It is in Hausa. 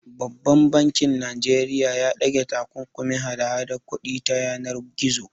Babban bankin Najeriya ya ɗage takunkumin hada hadar kuɗi ta yanar gizo.